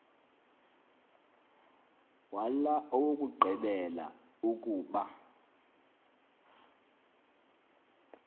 wala owokugqibela ukuba